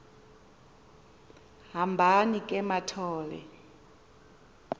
hambani ke mathol